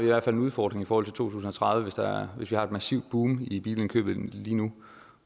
hvert fald en udfordring i forhold tusind og tredive hvis vi har et massivt boom i bilindkøbet lige nu